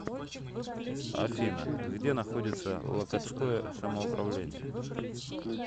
афина где находится локотское самоуправление